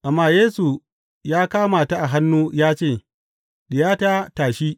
Amma Yesu ya kama ta a hannu ya ce, Diyata, tashi.